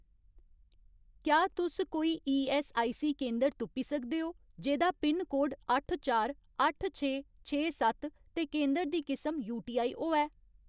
क्या तुस कोई ईऐस्सआईसी केंदर तुप्पी सकदे ओ जेह्‌दा पिनकोड अट्ठ चार अट्ठ छे छे सत्त ते केंदर दी किसम यूटीआई होऐ ?